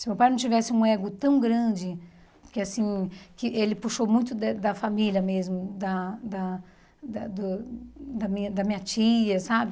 Se meu pai não tivesse um ego tão grande, que assim que ele puxou muito da da família mesmo, da da da do da minha da minha tia, sabe?